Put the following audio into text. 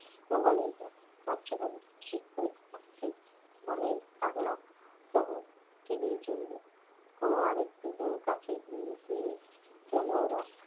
ও বলাই দা কাঁদছো কেন শীত লাগছে বলাই পাগলা তবু কেদেই চলল অণু আরেকটুখানি কাছে সরে গিয়ে গেল